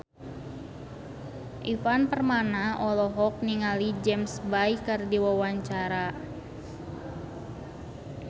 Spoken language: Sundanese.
Ivan Permana olohok ningali James Bay keur diwawancara